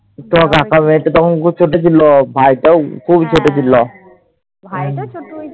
তোমার কাকার মেয়েটা খুব ছোট ছিল। ভাইটাও খুব ছোট ছিল।